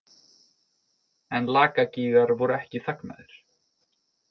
En Lakagígar voru ekki þagnaðir.